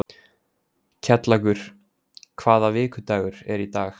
Kjallakur, hvaða vikudagur er í dag?